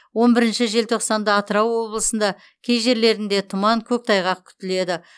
он бірінші желтоқсанда атырау облысында кей жерлерінде тұман көктайғақ күтіледі